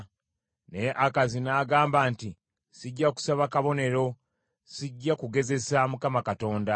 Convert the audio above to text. Naye Akazi n’agamba nti, “Sijja kusaba kabonero, sijja kugezesa Mukama Katonda.”